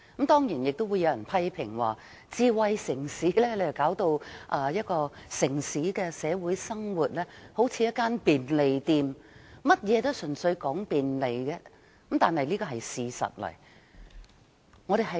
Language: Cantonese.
當然，有人亦會批評智慧城市令一個城市的社會生活變得像一間便利店，甚麼也純粹講求便利，這是事實。